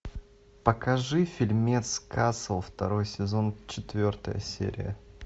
покажи фильмец касл второй сезон четвертая серия